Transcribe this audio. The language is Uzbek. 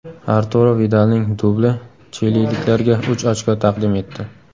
Arturo Vidalning dubli chililiklarga uch ochko taqdim etdi.